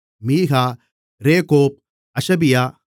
Micah Rehob அஷபியா